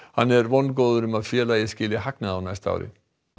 hann er vongóður um að félagið skili hagnaði á næsta ári